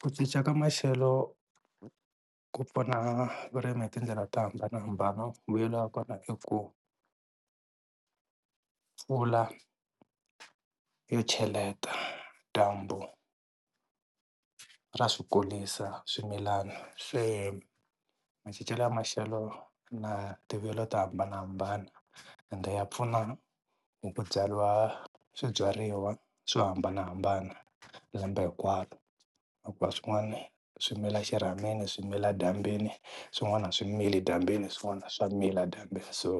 Ku cinca ka maxelo ku pfuna vurimi hi tindlela to hambanahambana vuyelo wa kona i ku mpfula yo cheleta, dyambu ra swi kulisa swimilana. Se macincelo ya maxelo na tivuyelo to hambanahambana, ende ya pfuna hi ku byariwa swibyariwa swo hambanahambana lembe hinkwaro, na ku va swin'wana swi mila xirhamini swi mila dyambyini swin'wana a swi mili dyambyini swin'wana swa mila dyambyini so